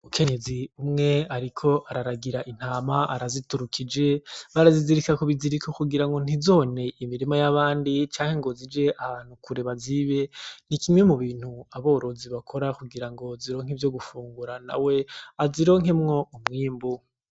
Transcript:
Umukenyezi umwe ariko araragira intama araziturukije barazizirika kubiziriko kugira ngo ntizone imirima yabandi canke ngo zije ahantu kure bazibe ni kimwe mubintu aborozi bakora kugira ngo zironke ivyo gufungura nawe azironkemwo umwimbu.